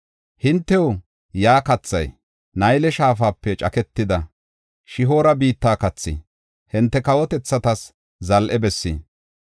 Hintew yaa kathay, Nayle shaafape caketida Shihoora biitta kathi; hinte kawotethatas zal7e bessi.